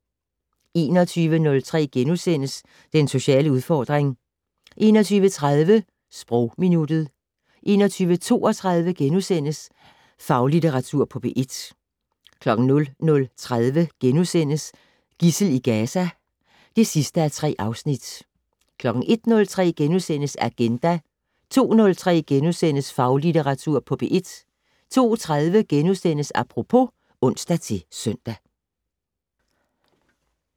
21:03: Den sociale udfordring * 21:30: Sprogminuttet 21:32: Faglitteratur på P1 * 00:30: Gidsel i Gaza (3:3)* 01:03: Agenda * 02:03: Faglitteratur på P1 * 02:30: Apropos *(ons-søn)